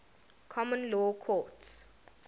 common law courts